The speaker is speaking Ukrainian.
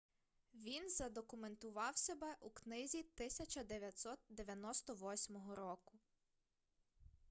він задокументував себе у книзі 1998 року